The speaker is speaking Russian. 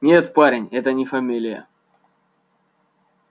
нет парень это не фамилия